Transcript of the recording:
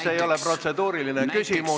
See ei ole protseduuriline küsimus.